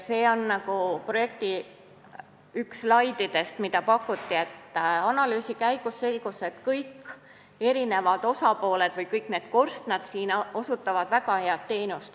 Analüüsi käigus selgus, et kõik osapooled – või kõik need korstnad siin slaidil – osutavad väga head teenust.